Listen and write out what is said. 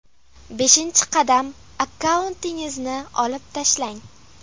Beshinchi qadam akkauntingizni olib tashlang.